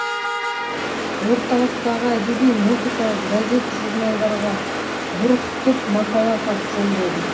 орталықтағы әдеби музыкалық газет журналдарға бұрқытып мақала хат жолдады